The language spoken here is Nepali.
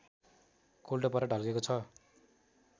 कोल्टो परेर ढल्केको छ